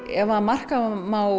ef marka má